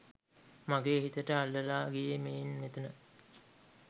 මගේ හිතට අල්ලලා ගියේ මේන් මෙතන